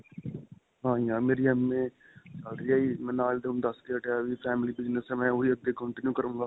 ਹਾਂਜੀ ਹਾਂ. ਮੇਰੀ MA ਚੱਲ ਰਹੀ ਹੈ ਜੀ. ਮੈਂ ਨਾਲ ਹੀ ਤੁਹਾਨੂੰ ਦੱਸ ਕੇ ਹਟਿਆ ਵੀ family business ਹੈ. ਮੈਂ ਓਹੀ ਅੱਗੇ continue ਕਰੁੰਗਾ.